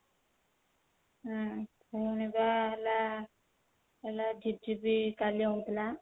ହୁଁ ହେଲା ହେଲା ଝିପ ଝିପ କାଲି ହଉଥିଲା